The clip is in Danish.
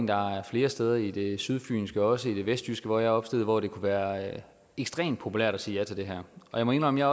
der er flere steder i det sydfynske og også i det vestjyske hvor jeg er opstillet hvor det kunne være ekstremt populært at sige ja til det her jeg må indrømme at